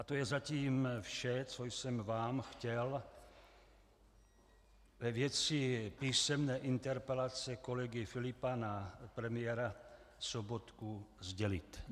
A to je zatím vše, co jsem vám chtěl ve věci písemné interpelace kolegy Filipa na premiéra Sobotku sdělit.